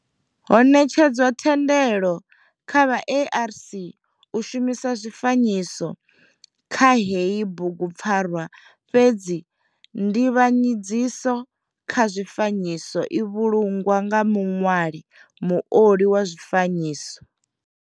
Ho netshedzwa thendelo kha vha ARC u shumisa zwifanyiso kha heyi bugupfarwa fhedzi nzivhanyedziso kha zwifanyiso i vhulungwa nga muṋwali muoli wa zwifanyiso.